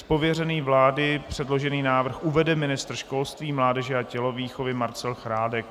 Z pověření vlády předložený návrh uvede ministr školství, mládeže a tělovýchovy Marcel Chládek.